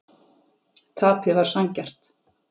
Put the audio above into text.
Tapið var sanngjarnt.